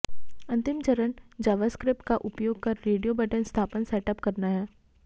अंतिम चरण जावास्क्रिप्ट का उपयोग कर रेडियो बटन सत्यापन सेट अप करना है